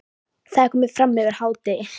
Það er komið fram yfir hádegi.